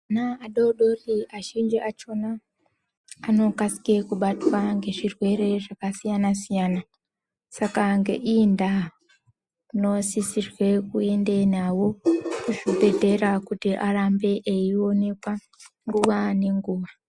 Ana adodori azhinji akhona anokasika kubatwa ngezvirwere zvakasiyana siyana. Saka ngeiyi ndaa munosisirwa kuenda navo kuzvibhedhlera kuti varambe vachionekwa nguwa ngenguwa.